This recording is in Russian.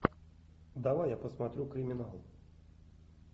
давай я посмотрю криминал